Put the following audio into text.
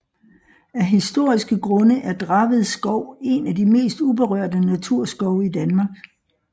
Af historiske grunde er Draved Skov en af de mest uberørte naturskove i Danmark